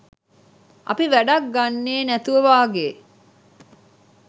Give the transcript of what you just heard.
අපි වැඩක් ගන්නෙ නැතුවා වගේ